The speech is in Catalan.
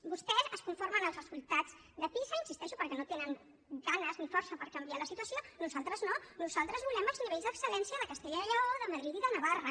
vostès es conformen amb els resultats de pisa hi insisteixo perquè no tenen ganes ni força per canviar la situació nosaltres no nosaltres volem els nivells d’excel·lència de castella i lleó de madrid i de navarra